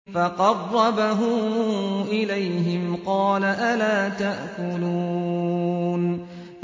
فَقَرَّبَهُ إِلَيْهِمْ قَالَ أَلَا تَأْكُلُونَ